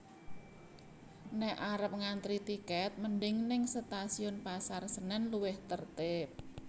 Nek arep ngantri tiket mending ning Stasiun Pasar Senen luwih tertib